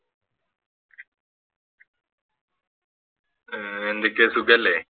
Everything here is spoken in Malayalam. അഹ് എന്തൊക്കെ സുഖല്ലേ?